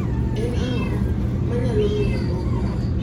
en ango manyalo miyo luok mo